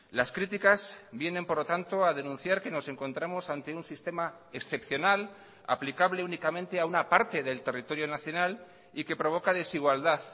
las críticas vienen por lo tanto a denunciar que nos encontramos ante un sistema excepcional aplicable únicamente a una parte del territorio nacional y que provoca desigualdad